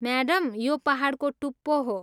Madam, यो पाहाडको टुप्पो हो।